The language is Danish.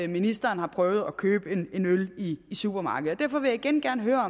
ministeren har prøvet at købe en øl i supermarkedet og derfor vil jeg igen gerne høre